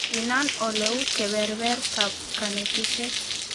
Inan oleu keberbertaab kanetishet